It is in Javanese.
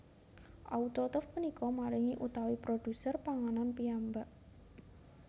Autotrof punika maringi utawi produser panganan piyambak